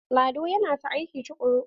Lado yana ta aiki tukuru.